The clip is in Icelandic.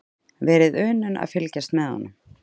Verið unun að fylgjast með honum.